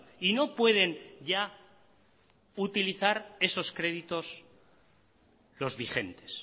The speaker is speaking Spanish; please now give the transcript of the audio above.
y no pueden ya utilizar esos créditos los vigentes